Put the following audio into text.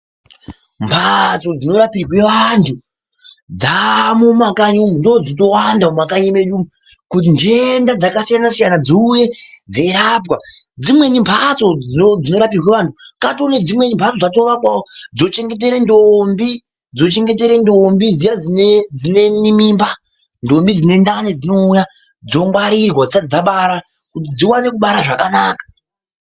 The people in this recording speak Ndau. Mbatso dzinorapirwa antu dzamomumakanyi umu ndodzochitowanda mumakanyi medu umu kuti ndenda dzakasiyana siyana dziuye dzeirapwa dzimweni mbatso dzorapirwa antu kwatonedzikwe mbatso dzatovakwawo dzochengeta ndombi dziya dzine mimba ndombi dzine ndani dzouya dzongwarirwa dzisati dzabara kuti dzione kubara zvakanaka.